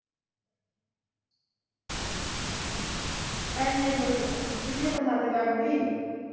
ਐਨੇ ਜਿੰਨੇ ਪਸੰਦ ਕਰਦੀ